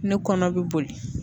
Ne kɔnɔ bɛ boli